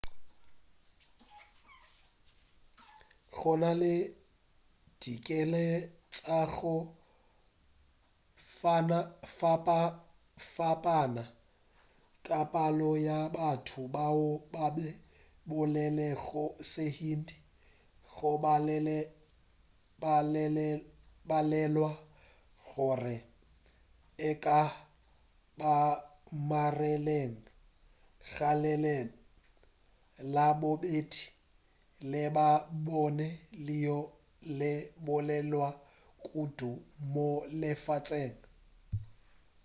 gona le ditekano tša go fapafapana ka palo ya batho bao ba bolelago sehindi go balelwa gore e ka ba magereng ga leleme la bobedi le labone leo le bolelwago kudu mo lefaseng